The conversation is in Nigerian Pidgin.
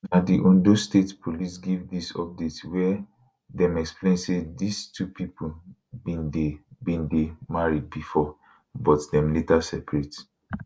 na di ondo state police give dis update wia dem explain say dis two pipo bin dey bin dey married bifor but dem later separate